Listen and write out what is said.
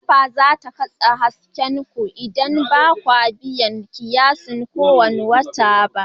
NEPA za ta katse haɗin hasken ku idan ba ku biya kiyasin kowane wata ba.